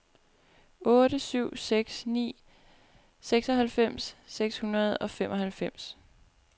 otte syv seks ni seksoghalvfems seks hundrede og femoghalvfems